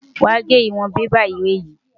Wàá gé ìwọ̀n bébà ìwé yìí.